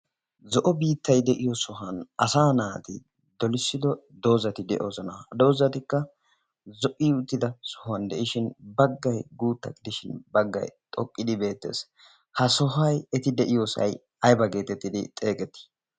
zo'o biittay de'iyo sohuwan asa naati dolissido doozati de'oosona doozatikka zo''i uttida sohuwan de'ishin baggay guutta gidishin baggay xoqqidi beettees ha sohoy eti de'iyoosay ayba geetettidi xeegetii